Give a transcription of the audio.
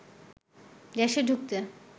দেশে ঢুকতে